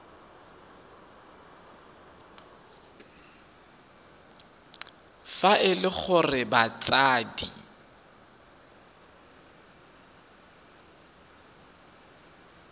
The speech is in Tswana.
fa e le gore batsadi